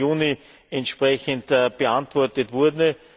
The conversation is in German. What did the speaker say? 15. Juni entsprechend beantwortet wurde.